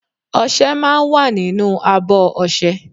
Oṣé máa ń wà nínú àbọ̀ ọ̀sẹ̀